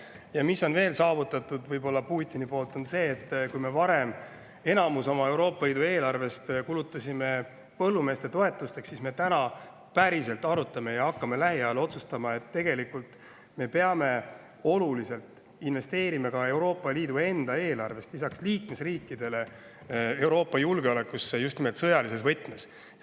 Ja Putin on veel saavutanud selle, et kui me varem suure osa Euroopa Liidu eelarvest kulutasime põllumeeste toetusteks, siis täna me päriselt arutame ja lähiajal otsustame, kas me peame oluliselt investeerima lisaks liikmesriikide ka Euroopa eelarvest Euroopa julgeolekusse sõjalises võtmes.